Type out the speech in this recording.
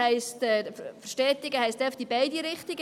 Verstetigen heisst in beide Richtungen.